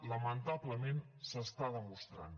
lamentablement s’està demostrant